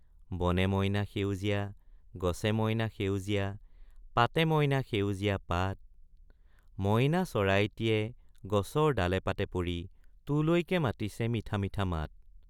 বনে মইনা সেউজীয়া গছে মইনা সেউজীয়া পাতে মইনা সেউজীয়া পাত মইনা চৰাইটিয়ে গছৰ ডালে পাতে পৰি তোলৈকে মাতিছে মিঠা মিঠা মাত।